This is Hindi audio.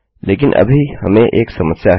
लेकिन अभी हमें एक समस्या है